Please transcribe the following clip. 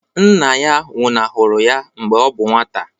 Nna ya nwụnahụrụ ya mgbe ọ bụ nwata